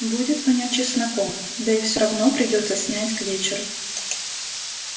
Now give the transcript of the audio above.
будет вонять чесноком да и всё равно придётся снять к вечеру